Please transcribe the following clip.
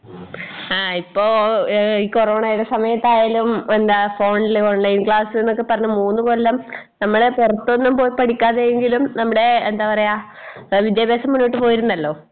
ആ ഇപ്പോ ഏഹ് ഈ കൊറോണയുടെ സമയത്തായാലും എന്താ ഫോണില് ഓൺലൈൻ ക്ലാസ്സ്ന്നൊക്കെപ്പറഞ്ഞു മൂന്നുകൊല്ലം നമ്മളെ പൊറത്തൊന്നും പോയി പഠിക്കാതെയെങ്കിലും നമ്മടെ എന്താ പറയാ വിദ്യാഭ്യാസം മുന്നോട്ട് പോയിരുന്നല്ലോ?